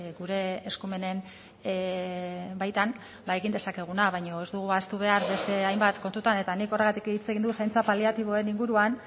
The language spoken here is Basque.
gure eskumenen baitan egin dezakeguna baino ez dugu ahaztu behar beste hainbat kontutan eta nik horregatik hitz egin dut zaintza paliatiboen inguruan